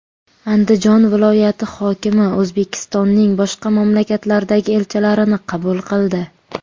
Andijon viloyati hokimi O‘zbekistonning boshqa mamlakatlardagi elchilarini qabul qildi.